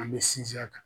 An bɛ sinsin a kan